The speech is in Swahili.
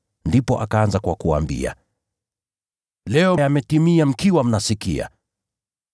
Ndipo akaanza kwa kuwaambia, “Leo Andiko hili limetimia mkiwa mnasikia.”